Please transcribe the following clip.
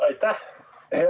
Aitäh!